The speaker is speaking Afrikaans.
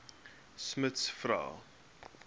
smuts vra